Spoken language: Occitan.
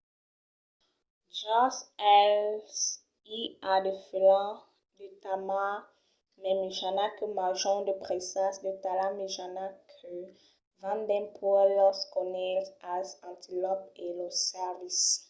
jos eles i a de felins de talha mai mejana que manjan de presas de talha mejana que van dempuèi los conilhs als antilòps e los cèrvis